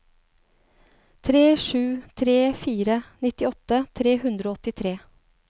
tre sju tre fire nittiåtte tre hundre og åttitre